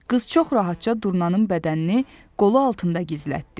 Qız çox rahatca durnanın bədənini qolu altında gizlətdi.